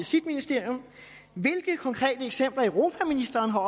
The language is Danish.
sit ministerium hvilke konkrete eksempler europaministeren har